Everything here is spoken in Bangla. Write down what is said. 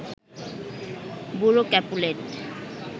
বুড়ো ক্যাপুলেট